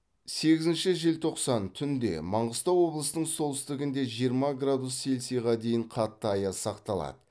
сегізінші желтоқсан түнде маңғыстау облысының солтүстігінде жиырма градус селсиға дейін қатты аяз сақталады